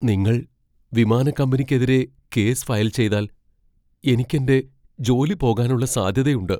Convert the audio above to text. നിങ്ങൾ വിമാനക്കമ്പനിക്കെതിരെ case file ചെയ്താൽ, എനിക്ക് എന്റെ ജോലി പോകാനുള്ള സാധ്യതയുണ്ട്.